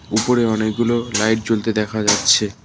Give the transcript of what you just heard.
উপরে অনেকগুলো লাইট জ্বলতে দেখা যাচ্ছে।